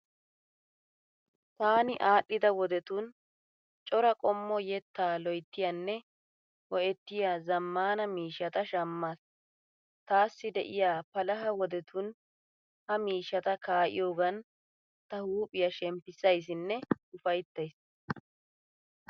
Taani aadhdhida wodetun cora qommo yettaa loyttiyaanne ho'ettiya zaammaana miishshata shammaas. Taassi de'iya palaha wodetun ha miishshata kaa'iyogaan ta huuphiya shemppissayissinne ufayittayiis.